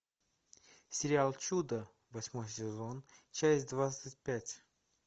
сериал чудо восьмой сезон часть двадцать пять